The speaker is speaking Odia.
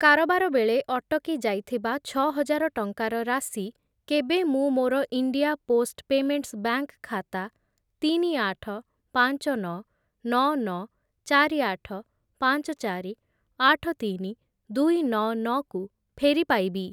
କାରବାର ବେଳେ ଅଟକି ଯାଇଥିବା ଛଅହଜାର ଟଙ୍କାର ରାଶି କେବେ ମୁଁ ମୋର ଇଣ୍ଡିଆ ପୋଷ୍ଟ୍‌ ପେମେଣ୍ଟ୍‌ସ୍ ବ୍ୟାଙ୍କ୍‌ ଖାତା ତିନି, ଆଠ, ପାଞ୍ଚ, ନଅ, ନଅ, ନଅ, ଚାରି, ଆଠ, ପାଞ୍ଚ, ଚାରି, ଆଠ, ତିନି, ଦୁଇ, ନଅ, ନଅ କୁ ଫେରି ପାଇବି?